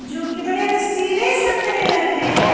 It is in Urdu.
.جو کی بدی رسیلے سنترے لگ رہی ہیں